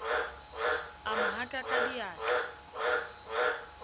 a mo haka ka diatla